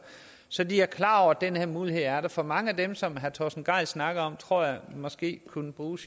så de er klar over at den her mulighed er der for mange af dem som herre torsten gejl snakker om tror jeg måske kunne bruge